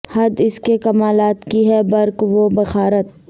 حد اس کے کما لات کی ہے بر ق و بخارات